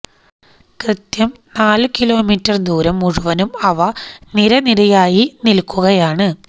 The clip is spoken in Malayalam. കൃത്യം നാലു കിലോമീറ്റര് ദൂരം മുഴുവനും അവ നിരനിരയായി നില്ക്കുകയാണ്